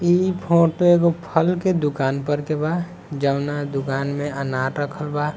ई फोटो एगो फल के दुकान पर के बा जौना दुकान में अनार रखल बा।